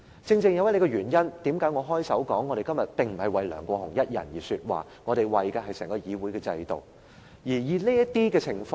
正是這個原因，我開首時說我們今天並不是為梁國雄議員一人說話，我們為的是整個議會的制度。